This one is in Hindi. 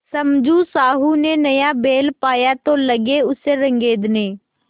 समझू साहु ने नया बैल पाया तो लगे उसे रगेदने